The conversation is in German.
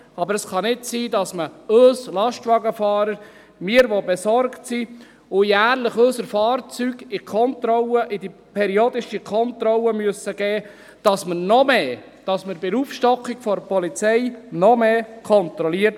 Aber es kann nicht sein, dass man uns Lastwagenfahrer – wir, die wir besorgt sind und jährlich unsere Fahrzeuge in die periodische Kontrolle geben müssen – bei der Aufstockung der Polizei noch mehr kontrolliert.